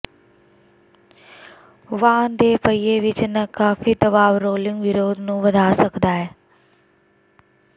ਵਾਹਨ ਦੇ ਪਹੀਏ ਵਿੱਚ ਨਾਕਾਫ਼ੀ ਦਬਾਅ ਰੋਲਿੰਗ ਵਿਰੋਧ ਨੂੰ ਵਧਾ ਸਕਦਾ ਹੈ